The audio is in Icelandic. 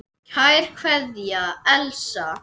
Kær kveðja, Elsa.